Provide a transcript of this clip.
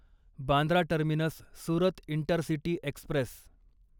Bandra terminus Surat intercity Express